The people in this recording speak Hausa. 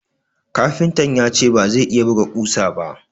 Kafintan ya ce ba zai iya buga kusa ba